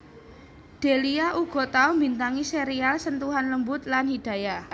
Delia uga tau mbintangi serial Sentuhan Lembut lan Hidayah